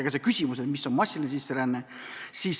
Kõlas ka küsimus, mis on massiline sisseränne.